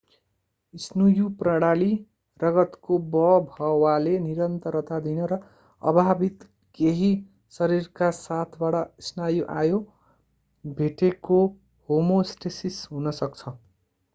स्नुयु प्रणाली रगतको बभवाले निरन्तरता दिन र अबाधित केही शरीरका साथबाट स्नायु आयो भेटेको होमोस्टेसिस हुन सक्छ